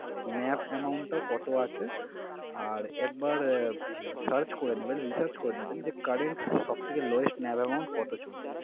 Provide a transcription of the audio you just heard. NAV amount টা কত আছে? আর একবার আহ search করে নেবেন research করে নেবেন যে current সব থেকে lowest NAV amount কত চলছে?